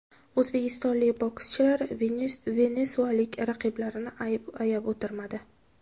O‘zbekistonlik bokschilar venesuelalik raqiblarini ayab o‘tirmadi.